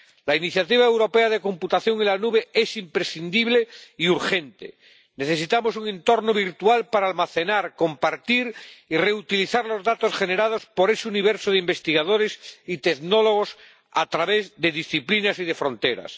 La Iniciativa Europea de Computación en la Nube es imprescindible y urgente. Necesitamos un entorno virtual para almacenar, compartir y reutilizar los datos generados por ese universo de investigadores y tecnólogos a través de disciplinas y de fronteras.